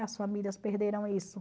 As famílias perderam isso.